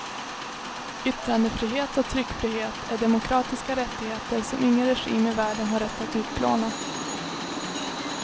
Yttrandefrihet och tryckfrihet är demokratiska rättigheter som ingen regim i världen har rätt att utplåna.